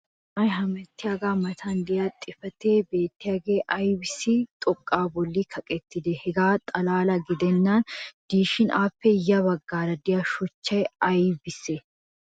issi na"ay hemettiyaaga matan diya xifatee beettiyaagee aybbissi xoqaa boli kaqettidee? hegaa xalaala gidennan diishshin appe ya bagaara diya shuchchay ay bessii?